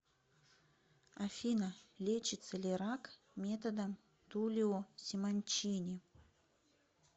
афина лечится ли рак методом тулио симончини